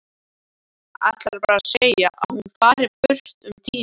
Ætlar bara að segja að hún fari burt um tíma.